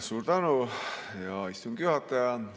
Suur tänu, hea istungi juhataja!